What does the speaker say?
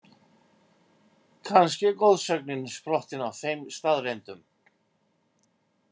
Kannski er goðsögnin sprottin af þeim staðreyndum?